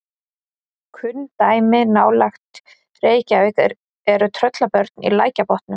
kunn dæmi nálægt reykjavík eru tröllabörn í lækjarbotnum